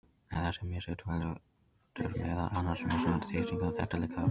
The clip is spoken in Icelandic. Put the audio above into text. En þessi mishitun veldur meðal annars mismunandi þrýstingi og þéttleika í lofthjúpnum.